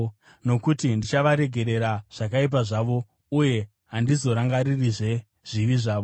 Nokuti ndichavaregerera zvakaipa zvavo uye handizorangaririzve zvivi zvavo.”